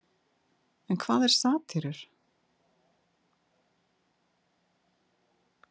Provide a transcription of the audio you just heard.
En hvað eru satírur?